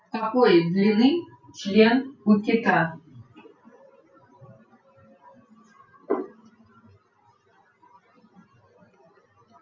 какой длины член у кита